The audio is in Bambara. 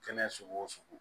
Kɛnɛ sugu o sugu